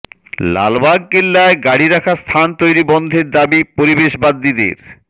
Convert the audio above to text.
লালবাগ কেল্লায় গাড়ি রাখার স্থান তৈরি বন্ধের দাবি পরিবেশবাদীদের